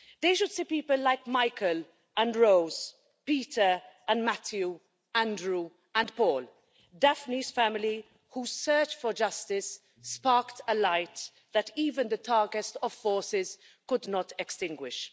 They should see people like Michael and Rose, Peter and Matthew, Andrew and Paul, Daphne's family whose search for justice sparked a light that even the darkest of forces could not extinguish.